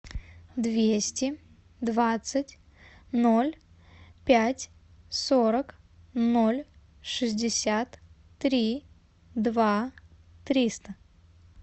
двести двадцать ноль пять сорок ноль шестьдесят три два триста